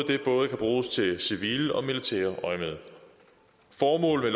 kan både bruges i civilt og militært øjemed formålet